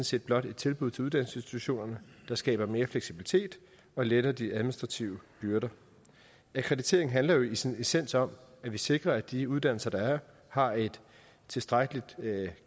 set blot et tilbud til uddannelsesinstitutionerne der skaber mere fleksibilitet og letter de administrative byrder akkreditering handler jo i sin essens om at vi sikrer at de uddannelser der er har en tilstrækkelig